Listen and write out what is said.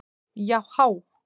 Já há!